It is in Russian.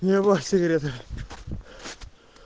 его сигареты